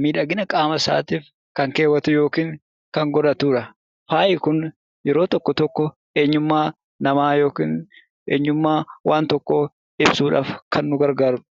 miidhagina qaama isaatiif kan keewwatu yookiin kan godhatudha. Faayi kun yeroo tokko tokko eenyummaa namaa yookiin waan tokkoo ibsuuf kan nu gargaarudha.